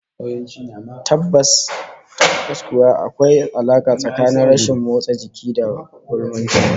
Tabbas kuwa, akwai alaka tsakanin rashin motsa jiki da gaulanci